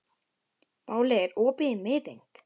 Váli, er opið í Miðeind?